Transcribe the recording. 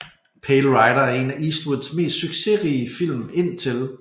Pale Rider er en af Eastwoods mest succesrige film indtil